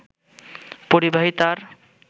পরিবাহী তার